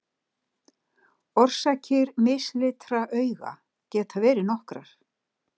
Orsakir mislitra augna geta verið nokkrar.